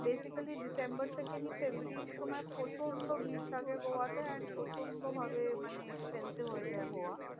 Basically December থেকে নিয়ে ফেব্রুয়ারির সময় প্রচন্ড ভিড় থাকে গোয়াতে। and প্রচন্ড ভাবে মানে expensive হয়ে যায় গোয়া।